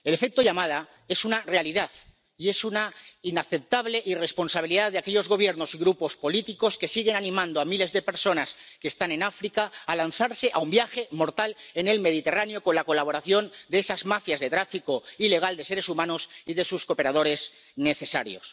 El efecto llamada es una realidad y es una inaceptable irresponsabilidad de aquellos Gobiernos y grupos políticos que siguen animando a miles de personas que están en África a lanzarse a un viaje mortal en el Mediterráneo, con la colaboración de esas mafias de tráfico ilegal de seres humanos y de sus cooperadores necesarios.